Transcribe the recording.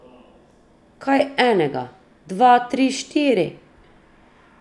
Kaj enega, dva, tri, štiri!